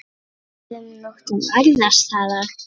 Öðrum nóttum annars staðar?